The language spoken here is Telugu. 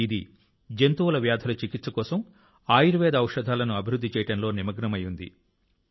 ఇది జంతువుల వ్యాధుల చికిత్స కోసం ఆయుర్వేద ఔషధాలను అభివృద్ధి చేయడంలో నిమగ్నమై ఉంది